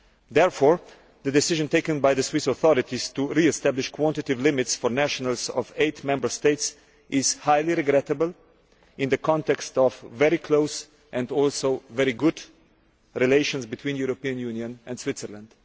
Therefore, the decision taken by the Swiss authorities to re establish quantitative limits for nationals of eight Member States is highly regrettable in the context of very close and very good relations between the European Union and Switzerland.